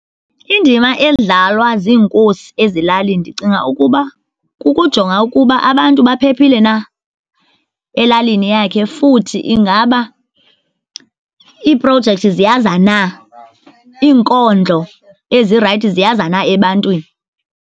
Indima edlalwa ziinkosi ezilalini ndicinga ukuba kukujonga ukuba abantu baphephile na elalini yakhe. Futhi ingaba iiprojekthi ziyaza na, iinkonzo ezirayithi ziyaza na ebantwini.